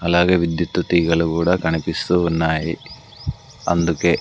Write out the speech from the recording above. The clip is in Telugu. అలాగే విద్యుత్ తీగల కూడా కనిపిస్తూ ఉన్నాయి అందుకే.